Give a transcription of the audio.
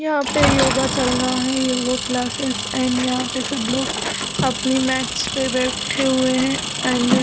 यहाँ पे योगा चल रहा है योगा क्लास्सेस एंड यहाँ पे सब लोग अपनी मैटस पे बैठे हुए है एंड --